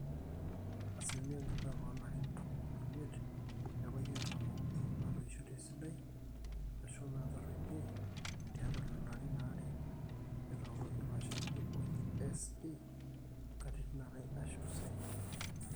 asilimia oonkituaak oolarin tomon oimiet nebaiki artam ooudo naatoishote esidai aashu naataruetie tiatwa lelo arin aare netooke ilo shani oji SP katitin are aashu saidi